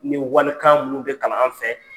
Ni walikan minnu de kalan an fɛ